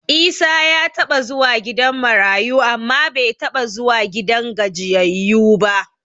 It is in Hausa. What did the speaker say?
Isa ya taɓa zuwa gidan marayu amma bai taɓa zuwa gidan gajiyayyu ba.